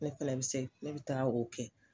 Ne fɛlɛ bɛ se ne bɛ taa o kɛ.